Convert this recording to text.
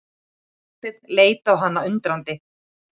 Aðalsteinn leit á hana undrandi.